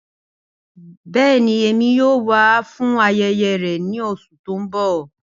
Bẹẹni, Emi yoo wa fun ayẹyẹ rẹ ni oṣu ti n bọ.